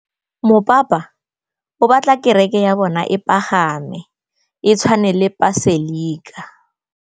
Mopapa o batla kereke ya bone e pagame, e tshwane le paselika.